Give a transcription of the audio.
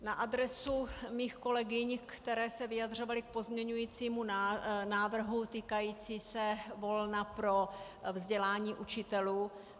Na adresu mých kolegyň, které se vyjadřovaly k pozměňovacímu návrhu týkajícímu se volna pro vzdělání učitelů.